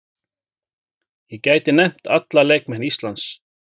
Ég gæti nefnt alla leikmenn Íslands.